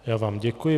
Já vám děkuji.